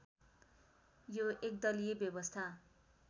यो एकदलीय व्यवस्था